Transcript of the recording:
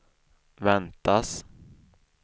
väntas